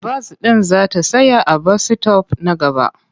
Bas ɗin za ta tsaya a bas-sitop na gaba.